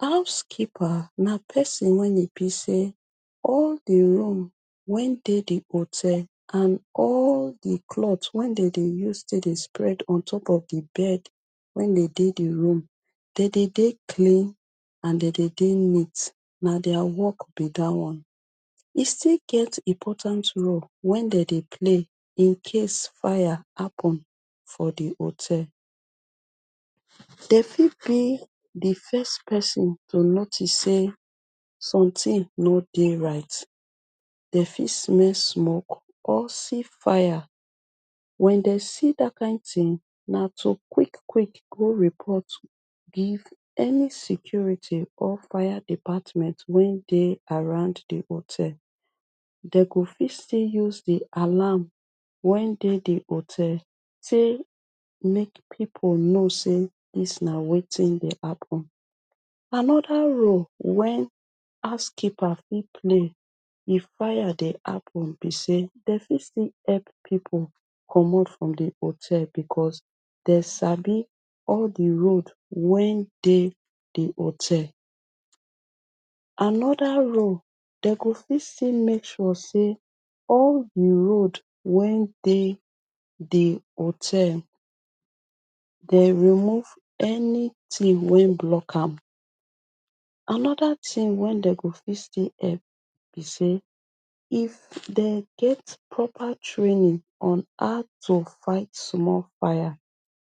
House keeper na person wen e be sey all di room wen dey di hotel and all di clot wen den dey use tek dey spread on top of di bed wen dey di room, den dey dey clean and den dey dey neat. Na dia work be dat one. E still get important role wen den dey play incase fire happen for di hotel. Den fit be di first person to notice sey sometin no dey right. Den fit smell smoke or see fire. Wen den see dat kind tin, na to quick quick go report give any security or fire department wey dey around di hotel. Den go fit still use di alarm wen dey di hotel tek make pipu know sey dis na wetin dey happen. Anoda role wen housekeeper fit play if fire dey happen be sey, den fit still help pipu comot from di hotel because, den sabi all di road wen dey di hotel. Anoda role, den go fit still make sure sey, all di road wen dey di hotel den remove anytin wey block am. Anoda tin wen den go fit still help be sey, if den get proper training on how to fight small fire,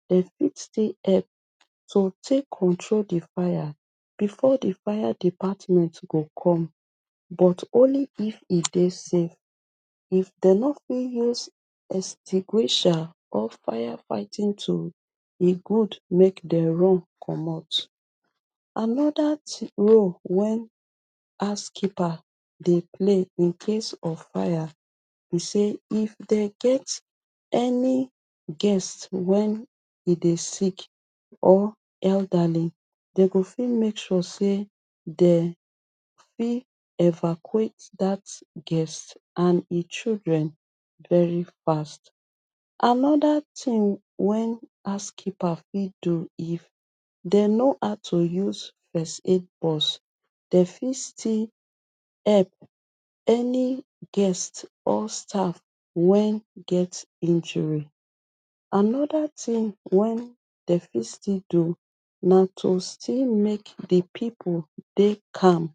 den fit still help to tek control di fire before di fire department go come, but, only if e dey safe. If den nor fit use extinguisher or firefighting tool, e good mek den run comot. Anoda tin role wen housekeeper dey play incase of fire be sey, if den get any guest wen e dey sick or elderly, den go fit make sure sey den fit evacuate dat guest and e children very fast. Anoda tin wen housekeeper fit do if den know how to use first aid box den fit still help, any guest or staff wen get injury. Anoda tin wen den fit still do na to still make di pipu dey calm.